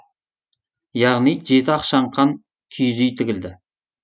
яғни жеті ақшаңқан киіз үй тігілді